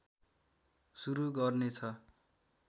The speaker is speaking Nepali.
सुरु गर्नेछ